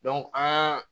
an